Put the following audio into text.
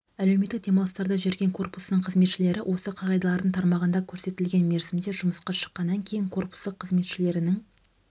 әлеуметтік демалыстарда жүрген корпусының қызметшілері осы қағидалардың тармағында көрсетілген мерзімде жұмысқа шыққаннан кейін корпусы қызметшілерінің